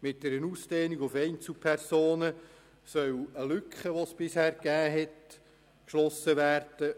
Mit einer Ausdehnung auf Einzelpersonen soll eine Lücke, die bisher bestanden hat, geschlossen werden.